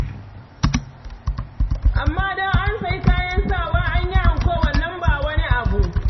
Amma don an sayi kayan sawa, an yi anko, wannan ba wani abu.